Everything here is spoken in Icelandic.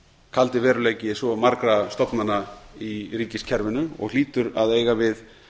kaldi veruleiki svo margra stofnana í ríkiskerfinu og hlýtur að eiga við